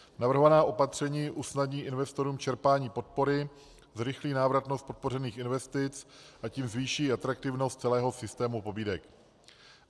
Navrhovaná opatření usnadní investorům čerpání podpory, zrychlí návratnost podpořených investic, a tím zvýší atraktivnost celého systému pobídek.